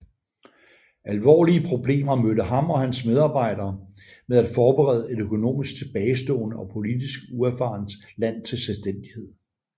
Alvorlige problemer mødte ham og hans medarbejdere med at forberede et økonomisk tilbagestående og politisk uerfarent land til selvstændighed